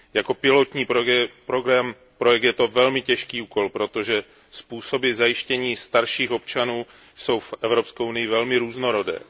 Jako pilotní projekt je to velmi těžký úkol, protože způsoby zajištění starších občanů jsou v Evropské unii velmi různorodé.